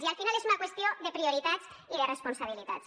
i al final és una qüestió de prioritats i de responsabilitats